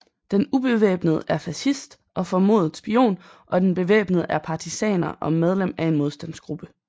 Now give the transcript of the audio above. Den ubevæbnede er fascist og formodet spion og den bevæbnede er partisaner og medlem af en modstandsgruppe